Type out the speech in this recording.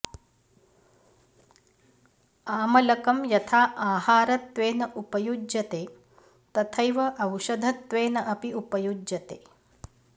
आमलकं यथा आहारत्वेन उपयुज्यते तथैव औषधत्वेन अपि उपयुज्यते